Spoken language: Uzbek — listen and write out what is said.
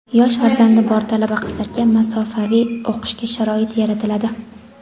yosh farzandi bor talaba-qizlarga masofaviy o‘qishga sharoit yaratiladi;.